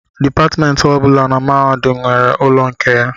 Dipatmentị ọ bụla na mahadum nwere ụlọ nke ya